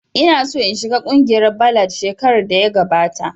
Ina so in shiga kungiyar ballad shekarar da ya gabata